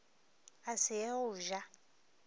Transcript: a se ye go ja